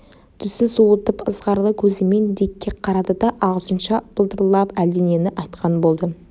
түсін суытып ызғарлы көзімен дикке қарады да ағылшынша былдырлап әлденені айтқан болды